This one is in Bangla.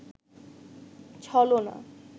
ছলনা